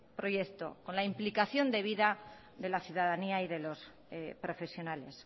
proyecto con la implicación debida de la ciudadanía y de los profesionales